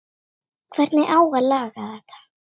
Hver á að laga þetta?